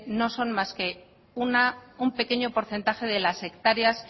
no son más que un pequeño porcentaje de las hectáreas